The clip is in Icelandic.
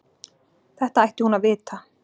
Þetta ætti hún að vita.